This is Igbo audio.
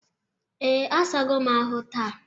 Ee, asago m ahụ taa.